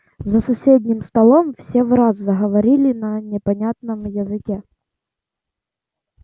за соседним столом все враз заговорили на непонятном языке